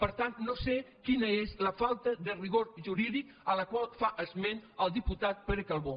per tant no sé quina és la falta de rigor jurídic de la qual fa esment el diputat pere calbó